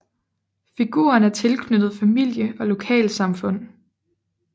Figuren er tilknyttet familie og lokalsamfund